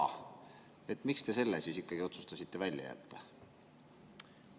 Miks te selle ikkagi otsustasite välja jätta?